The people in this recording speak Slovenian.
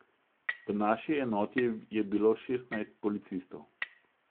V naši enoti je bilo šestnajst policistov.